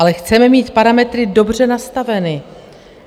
Ale chceme mít parametry dobře nastaveny.